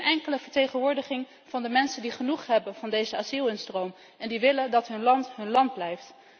Geen enkele vertegenwoordiging van de mensen die genoeg hebben van deze asielinstroom en die willen dat hun land hun land blijft.